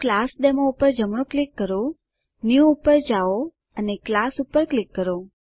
તો ક્લાસડેમો પર જમણું ક્લિક કરો ન્યૂ પર જાઓ અને ક્લાસ પર ક્લિક કરો